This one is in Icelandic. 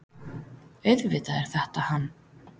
AUÐVITAÐ ER ÞETTA HANN.